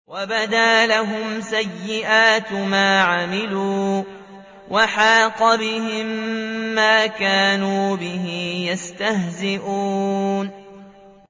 وَبَدَا لَهُمْ سَيِّئَاتُ مَا عَمِلُوا وَحَاقَ بِهِم مَّا كَانُوا بِهِ يَسْتَهْزِئُونَ